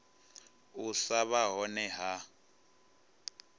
u sa vha hone ha